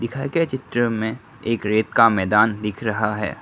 दिखाए गए चित्र में एक रेत का मैदान दिख रहा है।